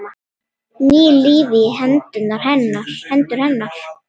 Ný lífi í hendur hennar.